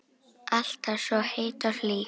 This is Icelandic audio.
Alltaf svo heit og hlý.